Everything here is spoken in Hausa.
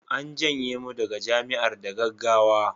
an janye mu daga Jami'ar da gaggawa